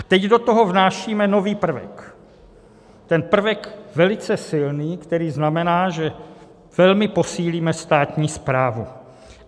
A teď do toho vnášíme nový prvek, ten prvek velice silný, který znamená, že velmi posílíme státní správu.